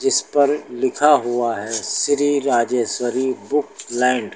इस पर लिखा हुआ है श्री राजेश्वरी बुक लैंड ।